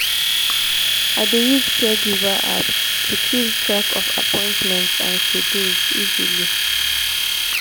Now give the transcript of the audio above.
i dey use caregiver apps to keep track of schedules and appointments easily.